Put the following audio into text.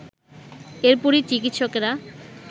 এরপরই চিকিৎসকেরা